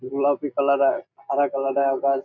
গোলাপি কালার এর আরেক আলাদা আকাশ।